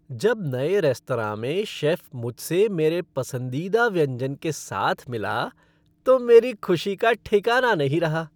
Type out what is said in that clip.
जब नए रेस्तरां में शेफ़ मुझसे मेरे पसंदीदा व्यंजन के साथ मिला तो मेरी खुशी का ठिकाना नहीं रहा।